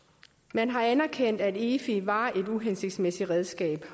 man har erkendt at efi var et uhensigtsmæssigt redskab